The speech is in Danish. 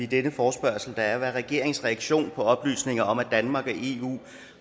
denne forespørgsel der er regeringens reaktion på oplysningerne om at danmark